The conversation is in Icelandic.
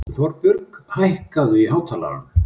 Þorbjörg, hækkaðu í hátalaranum.